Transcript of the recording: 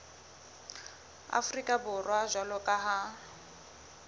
afrika borwa jwalo ka ha